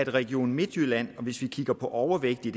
region midtjylland og hvis vi kigger på overvægtige